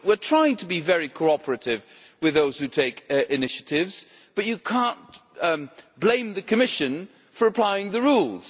We are trying to be very cooperative with those who take initiatives, but you cannot blame the Commission for applying the rules.